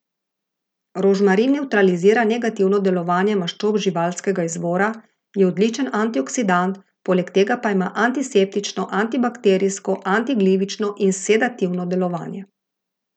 Rožmarin nevtralizira negativno delovanje maščob živalskega izvora, je odličen antioksidant, poleg tega pa ima antiseptično, antibiotsko, antiglivično in sedativno delovanje.